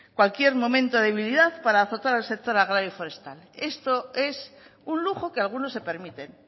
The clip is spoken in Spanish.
cualquier momento de debilidad para azotar al sector agrario forestal esto es un lujo que algunos se permiten